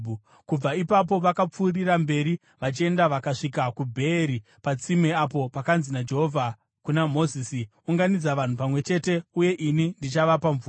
Kubva ipapo vakapfuurira mberi vachienda vakasvika kuBheeri, patsime apo pakanzi naJehovha kuna Mozisi, “Unganidza vanhu pamwe chete uye ini ndichavapa mvura.”